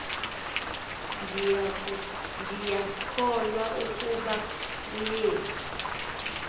ndiyakholwa ukuba uyesu